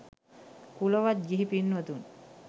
කුලවත් ගිහි පින්වතුන්